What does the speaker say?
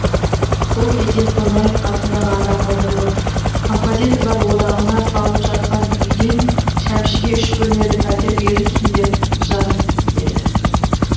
сол кезде қонаев қасындағы адамға бұрылып композиторлар одағына салынып жатқан үйден шәмшіге үш бөлмелі пәтер берілсін деп жаз деді